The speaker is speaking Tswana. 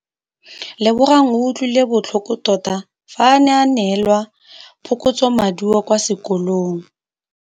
Lebogang o utlwile botlhoko tota fa a neelwa phokotsômaduô kwa sekolong.